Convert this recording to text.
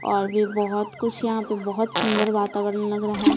और भी बहुत कुछ यहां पे बहुत सुंदर वातावरण लग रहा है।